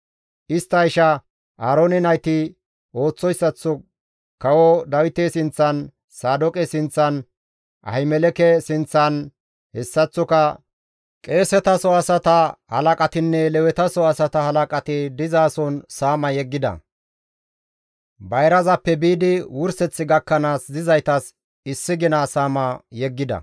Istta isha Aaroone nayti ooththoyssaththo kawo Dawite sinththan, Saadooqe sinththan, Ahimeleke sinththan, hessaththoka qeesetaso asata halaqatinne Lewetaso asata halaqati dizason saama yeggida; bayrazappe biidi wurseth gakkanaas dizaytas issi gina saama yeggida.